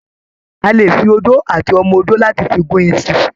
A lè fi odó àti ọmọ odó láti fi gún iṣu.